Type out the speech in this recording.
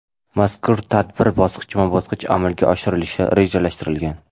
Mazkur tadbir bosqichma-bosqich amalga oshirilishi rejalashtirilgan.